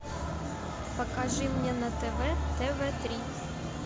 покажи мне на тв тв три